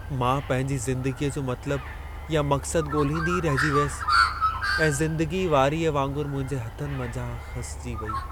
मां पंहिंजी ज़िंदगीअ जो मतलबु या मक़्सद ॻोल्हींदी ई रहिजी वियसि ऐं ज़िंदगी वारीअ वांगुरु मुंहिंजे हथनि मंझां खसिजी वेई।